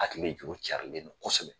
Hakili juru carilen do kosɛbɛ.